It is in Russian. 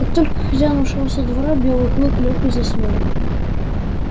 как только хозяин ушёл со двора белый клык лёг и заснул